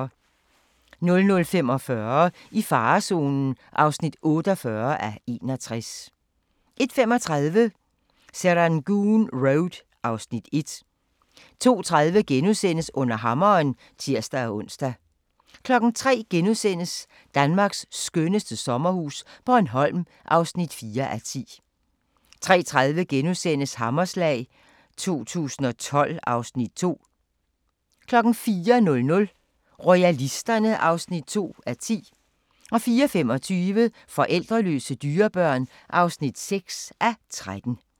00:45: I farezonen (48:61) 01:35: Serangoon Road (Afs. 1) 02:30: Under hammeren *(tir-ons) 03:00: Danmarks skønneste sommerhus - Bornholm (4:10)* 03:30: Hammerslag 2012 (Afs. 2)* 04:00: Royalisterne (2:10) 04:25: Forældreløse dyrebørn (6:13)